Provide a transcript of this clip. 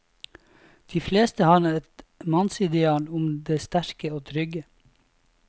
De fleste har et mannsideal om det sterke og trygge.